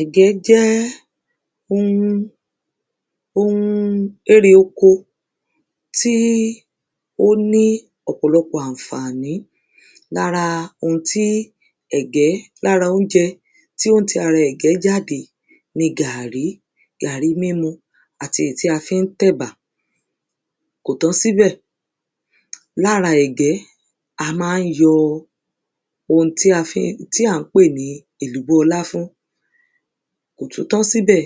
Ẹ̀gẹ́ jẹ́ ohun ohun erè oko tí ó ní ọ̀pọ̀lọpò àǹfàní. Lára ohun tí ẹ̀gẹ́ lára oúnjẹ tí ó ń ti ara ẹ̀gẹ́ jáde ni gàrì, gàrí mínu àti èyí tí a fí ń tẹ̀bà. Kò tán síbẹ̀. Lára ẹ̀gẹ́, a má ń yọ ohun tí a fí ohun tí à ń pè ní ẹ̀gẹ́ láfún. Kò tún tán síbẹ̀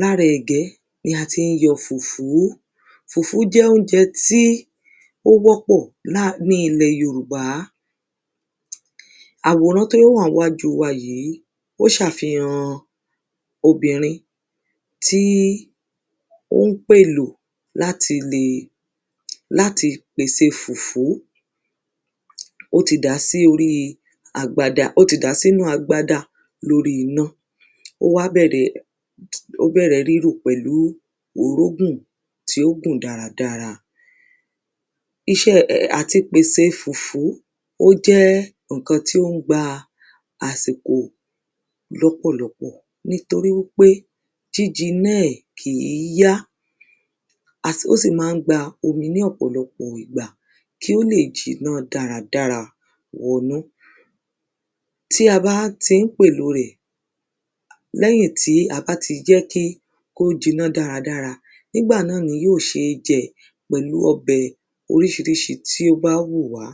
Lára ẹ̀gẹ́ ni a tí ń yọ fùfú. Fùfú jẹ́ óúnjẹ tí ó wọ́pọ̀ lá ní ilẹ Yorùbá. Àwòrá tí ó wà ńwájú wa yí ó ṣàfihan obìnrin tí ó ń pèlò láti lè láti pèse fùfú. Ó ti dàá sí oríi agbada ó ti dàá sínú agbada lórí iná. Ó wá bẹ̀rẹ̀ ó bẹ́rẹ rírò pẹ̀lú orógùn tí ó gùn dáradára. Iṣẹ́ àti pèse fùfú ó jẹ́ ǹkan tí ó gba àsìkò lọ́pọ̀lọpọ̀. Nítorí wípé jíjinná ẹ̀ kí yá. A sì ó sì má ń gba ominí ọ̀pọ̀lọpọ̀ ìgbà kí ó lè jinná dára dára wọnú. Tí a bá ti ń pèlò rẹ̀. Lẹ́yìn tí a bá ti jẹ́ kí kó jiná dáradára. Nígbà náà ni yóò sé jẹ́ pẹ̀lu ọbẹ̀ oríṣíríṣí tí ó bá wù wá.